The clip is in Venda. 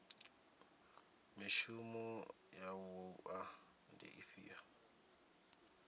mishumo ya wua ndi ifhio